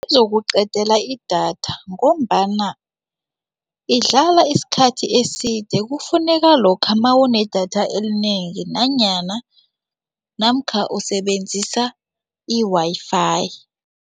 Bazokuqedela idatha ngombana idlala isikhathi eside kufuneka lokha mawune idatha elinengi nanyana namkha usebenzisa i-Wi-Fi.